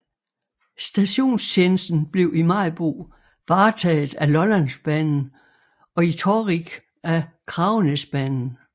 Stationstjenesten blev i Maribo varetaget af Lollandsbanen og i Torrig af Kragenæsbanen